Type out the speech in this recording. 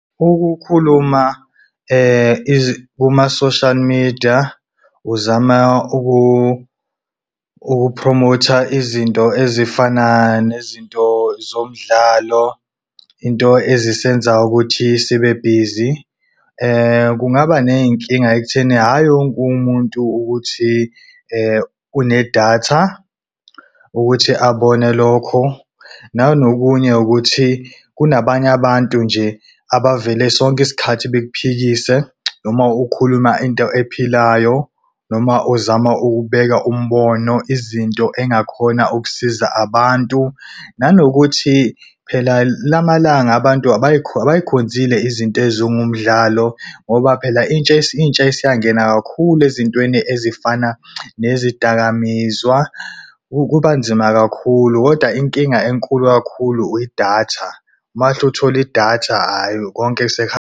Ukukhuluma kuma-social media uzama ukuphromotha izinto ezifana nezinto zomdlalo, into ezisenza ukuthi sibe busy kungaba ney'nkinga ekutheni hhayi wonke umuntu ukuthi unedatha ukuthi abone lokho. Nanokunye ukuthi kunabanye abantu nje, abavele sonke isikhathi bekuphikise noma ukhuluma into ephilayo noma uzama ukubheka umbono izinto engakhona ukusiza abantu. Nanokuthi phela lama langa abantu abayikhonzile izinto ezingumdlalo, ngoba phela intsha intsha iyisangena kakhulu ezintweni ezifana nezidakamizwa kuba nzima kakhulu. Kodwa inkinga enkulu kakhulu idatha mase uthole idatha konke .